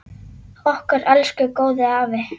Okkar elsku góði afi!